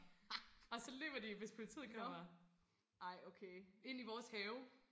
og løber de hvis politiet kommer ind i vores have